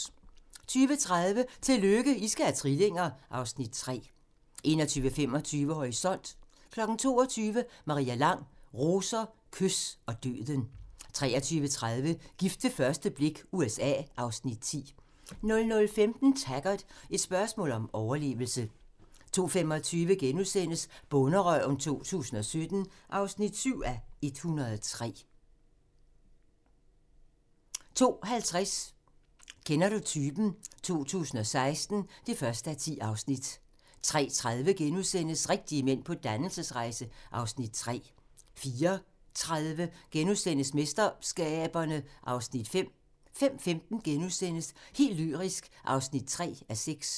20:30: Tillykke, I skal have trillinger! (Afs. 3) 21:25: Horisont (tir) 22:00: Maria Lang: Roser, kys og døden 23:30: Gift ved første blik - USA (Afs. 10) 00:15: Taggart: Et spørgsmål om overlevelse 02:25: Bonderøven 2011 (7:103)* 02:50: Kender du typen? 2016 (1:10)* 03:30: Rigtige mænd på dannelsesrejse (Afs. 3)* 04:30: MesterSkaberne (Afs. 5)* 05:15: Helt lyrisk (3:6)*